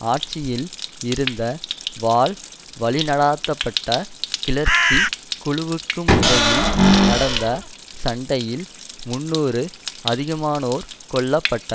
ஆட்சியில் இருந்த வால் வழிநடாத்தப்பட்ட கிளர்ச்சி குழுவுக்குமிடையில் நடந்த சண்டையில் முன்னூறு அதிகமானோர் கொல்ல பட்டனர்